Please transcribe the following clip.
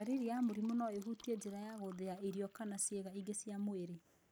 Ndariri ya mũrimũ no ũhutie njĩra ya gũthĩa irio kana ciĩga ingĩ cia mwĩrĩ.